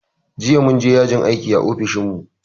Jiya mun je yajin aiki a ofishin mu